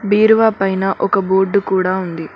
బీరువా పైనా ఒక బోర్డు కూడా ఉంది.